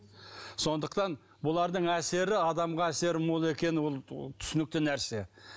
сондықтан бұлардың әсері адамға әсері мол екені түсінікті нәрсе